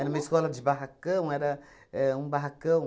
Era uma escola de barracão, era éh um barracão.